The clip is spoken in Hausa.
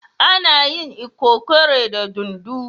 Ana yin lkokore da dunduu.